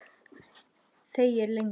Þegir lengi.